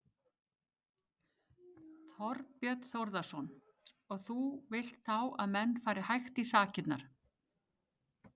Þorbjörn Þórðarson: Og þú vilt þá að menn fari hægt í sakirnar?